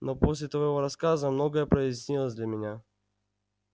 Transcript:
но после твоего рассказа многое прояснилось для меня